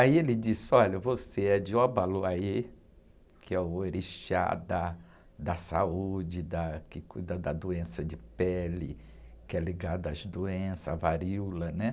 Aí ele disse, olha, você é de Obaluaiê, que é o orixá da, da saúde, da, que cuida da doença de pele, que é ligada às doenças, à varíola, né?